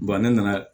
ne nana